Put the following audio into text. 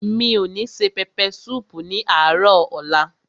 Mi ò ní se pẹpẹ súùpù ní àárò ọ̀la.